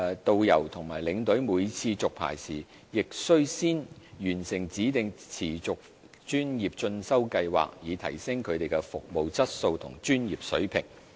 導遊和領隊每次續牌時，亦須先完成指定持續專業進修計劃，以提升他們的服務質素和專業水平。